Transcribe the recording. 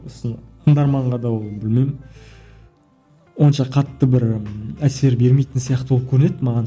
сосын тыңдарманға да ол білмеймін онша қатты бір әсер бермейтін сияқты болып көрінеді маған